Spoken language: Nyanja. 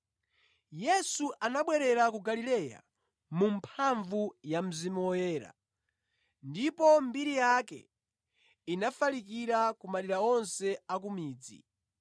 Yesu anabwerera ku Galileya mu mphamvu ya Mzimu Woyera, ndipo mbiri yake inafalikira ku madera onse a ku midzi.